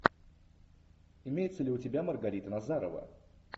имеется ли у тебя маргарита назарова